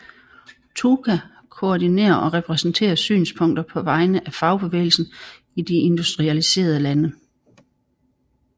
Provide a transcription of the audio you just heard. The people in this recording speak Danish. TUAC koordinerer og repræsenterer synspunkter på vegne af fagbevægelsen i de industrialiserede lande